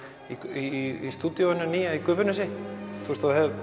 í stúdíóinu nýja í Gufunesi það